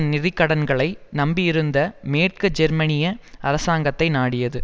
நிதி கடன்களை நம்பியிருந்த மேற்கு ஜெர்மனிய அரசாங்கத்தை நாடியது